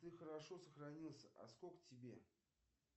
ты хорошо сохранился а сколько тебе